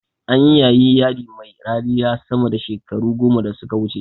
Anyi yayin yadi mai rariya sama da shekaru goma da suka wuce